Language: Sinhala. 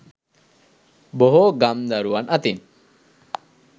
බොහෝ ගම් දරුවන් අතින්